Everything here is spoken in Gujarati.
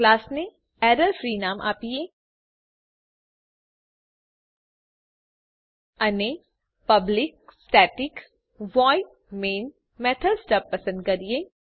ક્લાસને એરર ફ્રી નામ આપીએ અને public static void main method stub પસંદ કરીએ